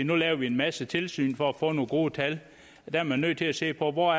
nu laver vi en masse tilsyn for at få nogle gode tal der er man nødt til at se på hvor